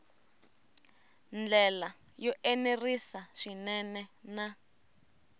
ndlela yo enerisa swinene na